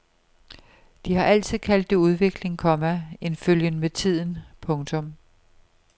De har altid kaldt det udvikling, komma en følgen med tiden. punktum